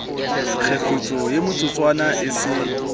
kgefutso ye metsotswana e se